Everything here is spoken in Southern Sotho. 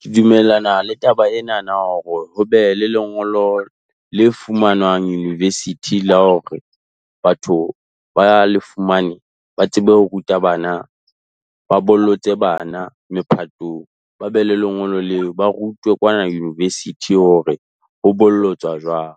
Ke dumellana le taba enana hore ho be le lengolo le fumanwang university la hore batho ba le fumane, ba tsebe ho ruta bana ba bollotse bana mephatong. Ba be le lengolo leo, ba rutwe kwana university hore ho bollotswa jwang.